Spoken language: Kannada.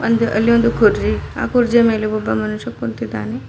ಒಂದು ಅಲ್ಲಿ ಒಂದು ಕುರ್ಚಿ ಆ ಕುರ್ಚಿಯ ಮೇಲೆ ಒಬ್ಬ ಮನುಷ್ಯ ಕುಂತಿದ್ದಾನೆ.